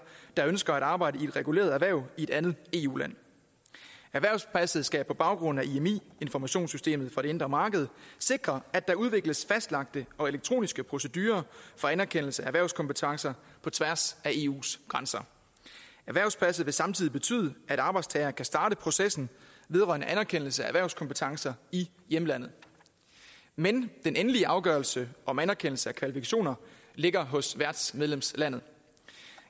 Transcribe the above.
der ønsker at arbejde i et reguleret erhverv i et andet eu land erhvervspasset skal på baggrund af imi informationssystemet for det indre marked sikre at der udvikles fastlagte og elektroniske procedurer for anerkendelse af erhvervskompetencer på tværs af eus grænser erhvervspasset vil samtidig betyde at arbejdstageren kan starte processen vedrørende anerkendelse af erhvervskompetencer i hjemlandet men den endelige afgørelse om anerkendelse af kvalifikationer ligger hos værtsmedlemslandet